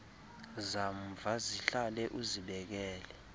zamva zihlale uzibekele